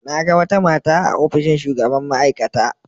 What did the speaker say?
Na ga wata mata a ofishin shugaban ma'aikata.